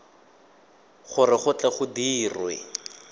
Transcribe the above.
gore go tle go dirwe